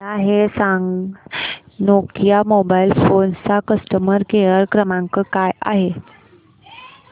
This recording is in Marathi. मला हे सांग नोकिया मोबाईल फोन्स चा कस्टमर केअर क्रमांक काय आहे